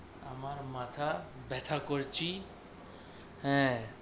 আমার মাথা ব্যাথা করছি, হ্যাঁ